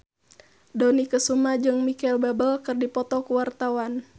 Dony Kesuma jeung Micheal Bubble keur dipoto ku wartawan